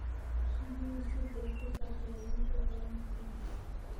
Riyuhu si degdeg ah ayay wax u baran karaan.